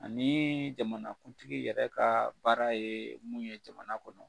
Ani jamanakuntigi yɛrɛ ka baara ye mun ye jamana kɔnɔ.